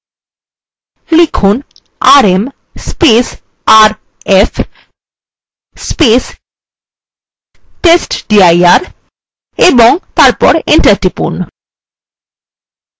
লিখুন rmrf testdir এবং তারপর enter টিপুন